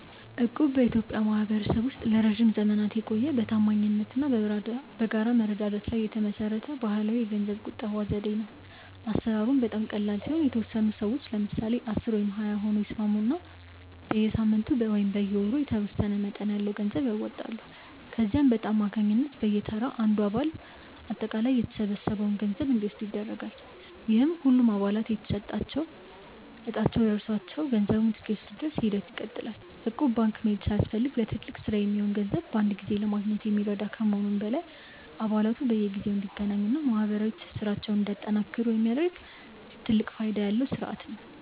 እቁብ በኢትዮጵያ ማኅበረሰብ ውስጥ ለረጅም ዘመናት የቆየ፣ በታማኝነት እና በጋራ መረዳዳት ላይ የተመሠረተ ባሕላዊ የገንዘብ ቁጠባ ዘዴ ነው። አሠራሩም በጣም ቀላል ሲሆን፤ የተወሰኑ ሰዎች (ለምሳሌ 10 ወይም 20 ሆነው) ይስማሙና በየሳምንቱ ወይም በየወሩ የተወሰነ መጠን ያለው ገንዘብ ያዋጣሉ። ከዚያም በዕጣ አማካኝነት በየተራ አንዱ አባል አጠቃላይ የተሰበሰበውን ገንዘብ እንዲወስድ ይደረጋል፤ ይህም ሁሉም አባላት ዕጣቸው ደርሷቸው ገንዘቡን እስኪወስዱ ድረስ ሂደቱ ይቀጥላል። እቁብ ባንክ መሄድ ሳያስፈልግ ለትልቅ ሥራ የሚሆን ገንዘብ በአንድ ላይ ለማግኘት የሚረዳ ከመሆኑም በላይ፣ አባላቱ በየጊዜው እንዲገናኙና ማኅበራዊ ትስስራቸውን እንዲያጠናክሩ የሚያደርግ ትልቅ ፋይዳ ያለው ሥርዓት ነው።